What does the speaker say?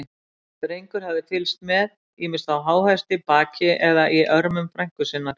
Drengur hafði fylgst með, ýmist á háhesti, baki eða í örmum frænku sinnar.